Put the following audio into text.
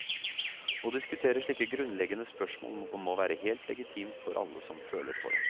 Å diskutere slike grunnleggende spørsmål må være helt legitimt for alle som føler for det.